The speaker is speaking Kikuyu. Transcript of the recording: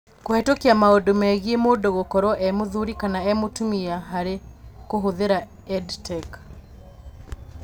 Kũhetũkia maũndũ megiĩ mũndũ gũkorwo e-mũthuri kana e-mũtumia harĩ kũhũthĩra EdTech.